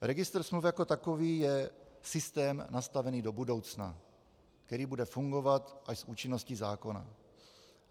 Registr smluv jako takový je systém nastavený do budoucna, který bude fungovat až s účinností zákona.